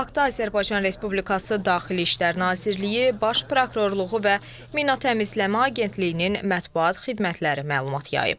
Bu haqda Azərbaycan Respublikası Daxili İşlər Nazirliyi, Baş Prokurorluğu və Mina Təmizləmə Agentliyinin mətbuat xidmətləri məlumat yayıb.